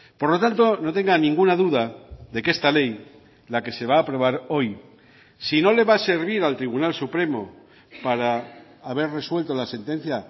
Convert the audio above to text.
por lo tanto no tenga ninguna duda de que esta ley la que se va a aprobar hoy si no le va a servir al tribunal supremo para haber resuelto la sentencia